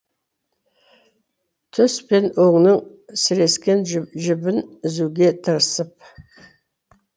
түс пен өңнің сірескен жібін үзуге тырысып